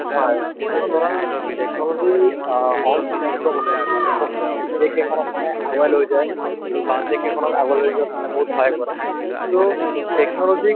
হয় কিয়নো ধৰা technology অ হ'ল এটা এনেকুৱা বস্তু যিটো বস্তুয়ে নেকি দেশ এখনক মানে আগুৱাই লৈ যায় বা দেশ এখনক আগলৈ যোৱাত মানে বহুত সহায় কৰে so technology ক